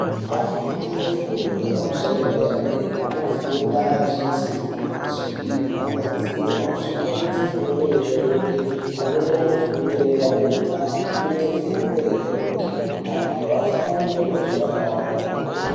Afundi efundo yepamusoro yedera-dera, anofunda achiisirwe mazwi kumadziro zvinoite fundo ireruke. Amweni anofunde nedandemutande zvinoite fundo ireruke, antu afunde mazwi akawanda kwemene.